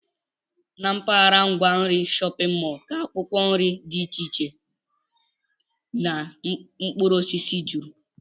Na mpaghara ngwa nri shọpịn mọl ka akwụkwọ nri dị iche iche na mkpụrụosisi juru